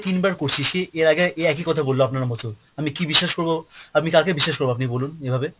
তিনবার করছি, সেই এর আগে এই একই কথা বলল আপনার মতো, আমি কী বিশ্বাস করবো, আমি কাকে বিশ্বাস করবো আপনি বলুন এ ভাবে?